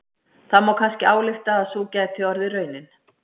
Það má kannski álykta að sú gæti orðið raunin.